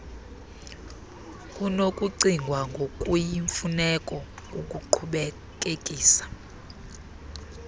kunokucingwa ngokuyimfuneko ukuqhubekekisa